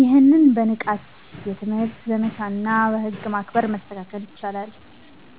ይህም በንቃት የትምህርት ዘመቻዎችና በህግ ማስከበር መስተካከል ይችላል።